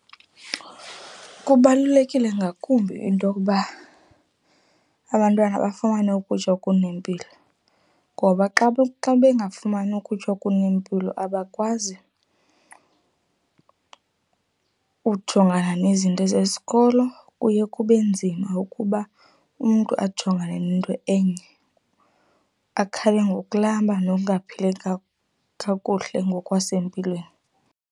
Kubalulekile ngakumbi into okuba abantwana bafumane ukutya okunempilo ngoba xa bengafumani ukutya okunempilo abakwazi ujongana nezinto zesikolo kuye kube nzima ukuba umntu ajongane nto enye akhale ngokulamba nokungaphatheki kakuhle ngokwasempilweni.